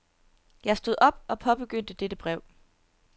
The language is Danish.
Jeg stod op og påbegyndte dette brev.